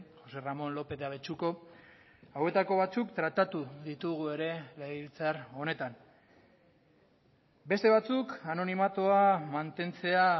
joxe ramon lopez de abetxuko hauetako batzuk tratatu ditugu ere legebiltzar honetan beste batzuk anonimatua mantentzea